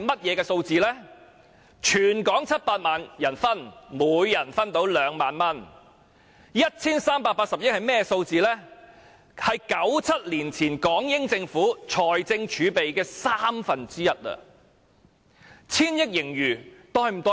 如果分配給全港700萬人，每人可以分到2萬元 ；1,380 億元是1997年前港英政府財政儲備的三分之一。